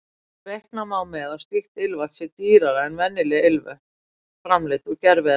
Reikna má með að slíkt ilmvatn sé dýrara en venjuleg ilmvötn framleidd úr gerviefnum.